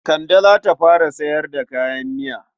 Kande za ta fara sayar da kayan miya.